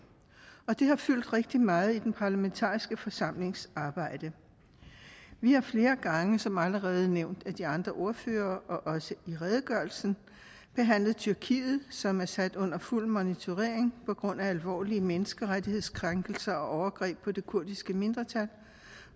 og det har fyldt rigtig meget i den parlamentariske forsamlings arbejde vi har flere gange som allerede nævnt af de andre ordførere og også i redegørelsen behandlet tyrkiet som er sat under fuld monitorering på grund af alvorlige menneskerettighedskrænkelser og overgreb på det kurdiske mindretal